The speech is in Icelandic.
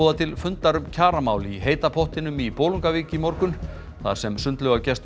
til fundar um kjaramál í heita pottinum í Bolungarvík í morgun þar sem sundlaugargestum